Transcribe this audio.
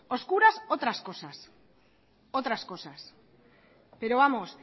oscuras otras cosas pero vamos